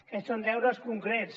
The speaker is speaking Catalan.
aquests són deures concrets